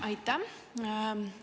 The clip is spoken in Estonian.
Aitäh!